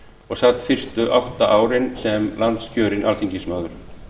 og sat fyrstu átta árin sem landskjörinn alþingismaður